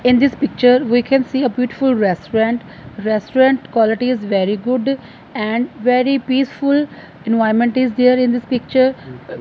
in this picture we can see a beautiful restaurant restaurant qualities very good and very peaceful environment is there in this picture.